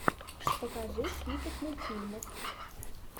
покажи список мультфильмов